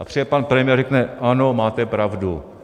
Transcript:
A přijde pan premiér a řekne: Ano, máte pravdu.